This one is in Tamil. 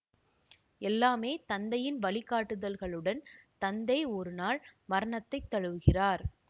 எல்லாமே தந்தையின் வழிகாட்டுதல்களுடன் தந்தை ஒரு நாள் மரணத்தை தழுவுகிறார்